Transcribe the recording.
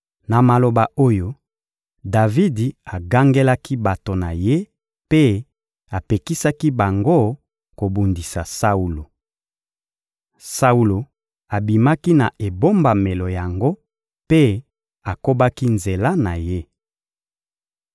Na maloba oyo, Davidi agangelaki bato na ye mpe apekisaki bango kobundisa Saulo. Saulo abimaki na ebombamelo yango mpe akobaki nzela na ye.